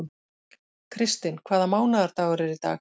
Kristinn, hvaða mánaðardagur er í dag?